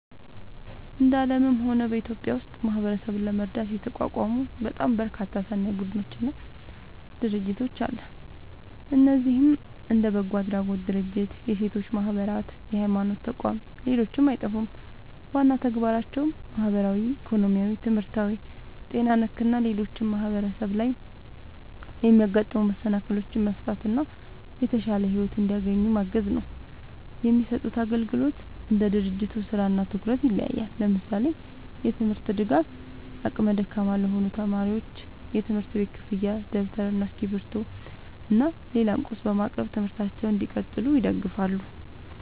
እንደ አለምም ሆነ በኢትዮጵያ ውስጥ ማህበረሰብን ለመርዳት የተቋቋሙ በጣም በርካታ ሰናይ ቡድኖች እና ድርጅቶች አለ። እነዚህም እንደ በጎ አድራጎት ድርጅቶች፣ የሴቶች ማህበራት፣ የሀይማኖት ተቋም ሌሎችም አይጠፉም። ዋና ተግባራቸውም ማህበራዊ፣ ኢኮኖሚያዊ፣ ትምህርታዊ፣ ጤና ነክ እና ሌሎችም ማህበረሰብ ላይ የሚያጋጥሙ መሰናክሎችን መፍታት እና የተሻለ ሒወት እንዲያገኙ ማገዝ ነው። የሚሰጡት አግልግሎት እንደ ድርጅቱ ስራ እና ትኩረት ይለያያል። ለምሳሌ፦ የትምርት ድጋፍ አቅመ ደካማ ለሆኑ ተማሪዎች የትምህርት ቤት ክፍያ ደብተር እና እስክሪብቶ እና ሌላም ቁስ በማቅረብ ትምህርታቸውን እንዲቀጥሉ ይደግፋሉ